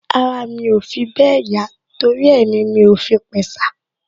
Ara mi ò fi bẹ́ẹ̀ yá torí ẹ ni mi ò fi pẹ̀sà